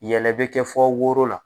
Yɛlɛ bɛ kɛ fɔ woro la.